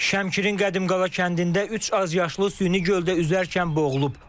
Şəmkirin Qədimqala kəndində üç azyaşlı süni göldə üzərkən boğulub.